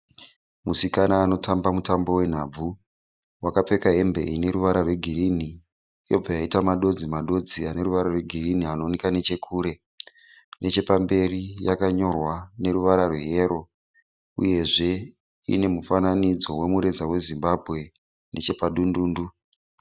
Musikana anotamba mutambo wenhabvu. Wakapfeka hembe ine ruvara rwegirinhi. Yoibva yaita madodzi dzodzi eruvara rwegirinhi anooneka nechekure. Nechepamberi yakanyorwa neruvara rweyero uyezve ine mufananidzo wemureza weZimbabwe nechepadundundu